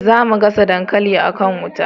za mu gasa dankali a kan wuta